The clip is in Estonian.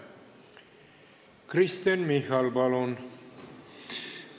Kristen Michal, palun!